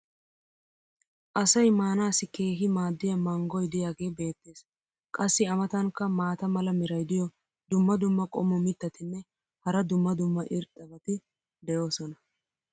Asay maanaassi keehi maadiya manggoy diyaagee beetees. qassi a matankka maata mala meray diyo dumma dumma qommo mitattinne hara dumma dumma irxxabati de'oosona.